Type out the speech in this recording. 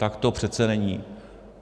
Tak to přece není.